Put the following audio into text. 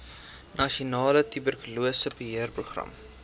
nasionale tuberkulose beheerprogram